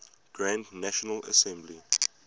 grand national assembly